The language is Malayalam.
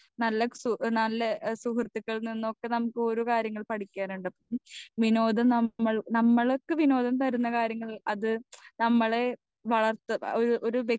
സ്പീക്കർ 2 നല്ല സു നല്ല സുഹൃത്തികളിൽനിന്നൊക്കെ നമ്മുക്ക് ഒരു കാര്യങ്ങൾ പഠിക്കാനിണ്ട് വിനോദം നമ്മൾ നമ്മൾക്ക് വിനോദം തരുന്ന കാര്യങ്ങൾ അത് നമ്മളെ വളർത്ത അത് ഒരു